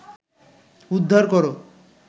উদ্ধার কর